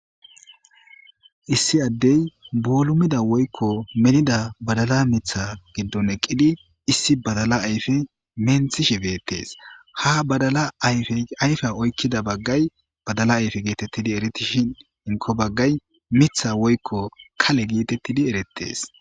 issi addey boolumida woykko melida badala mitha giddon eqqidi issi badala ayfe menthishe beettees ha badala ayfye oykkida baggay badala ayfe geetettidi eritishin hinko baggay mitha woykko kale geetettidi erettees